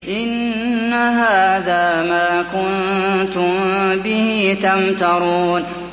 إِنَّ هَٰذَا مَا كُنتُم بِهِ تَمْتَرُونَ